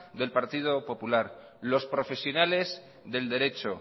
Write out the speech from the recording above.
del partido popular los profesionales del derecho